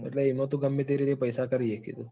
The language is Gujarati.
એટલે એમાં તું ગમે તે રીતે પૈસા કરી સકે તું.